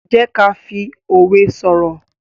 jé ká fí òwe soro.